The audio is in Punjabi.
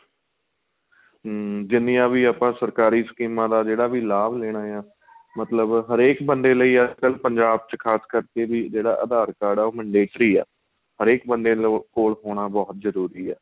ਹਮ ਜਿੰਨੀਆਂ ਵੀ ਆਪਾਂ ਸਰਕਾਰੀ ਸਕੀਮਾਂ ਦਾ ਜਿਹੜਾ ਵੀ ਲਾਂਭ ਲੈਣਾ ਏ ਮਤਲਬ ਹਰੇਕ ਬੰਦੇ ਲਈ ਅੱਜ ਕੱਲ ਪੰਜਾਬ ਚ ਖ਼ਾਸਕਰ ਕਰਕੇ ਵੀ ਜਿਹੜਾ aadhar card ਏ ਉਹ mandatory ਆਂ ਹਰੇਕ ਬੰਦੇ ਕੋਲ ਹੋਣਾ ਬਹੁਤ ਜਰੂਰੀ ਆਂ